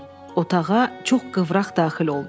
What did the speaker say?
Otağa çox qıvraq daxil oldu.